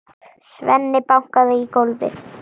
Svenni bankaði í gólfið.